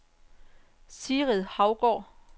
Sigrid Hougaard